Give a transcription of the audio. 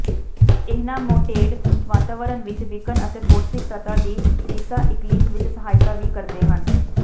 ਇਹਨਾਮੇਟੌਡ ਵਾਤਾਵਰਨ ਵਿਚ ਵਿਕਣ ਅਤੇ ਪੌਸ਼ਟਿਕ ਤੱਤਾਂ ਦੀ ਰੀਸਾਇਕਲਿੰਗ ਵਿਚ ਸਹਾਇਤਾ ਵੀ ਕਰਦੇ ਹਨ